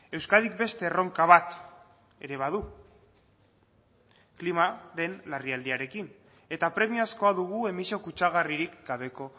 euskadik beste erronka bat ere badu klimaren larrialdiarekin eta premiazkoa dugu emisio kutsagarririk gabeko